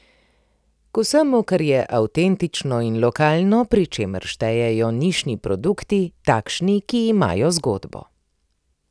K vsemu, kar je avtentično in lokalno, pri čemer štejejo nišni produkti, takšni, ki imajo zgodbo.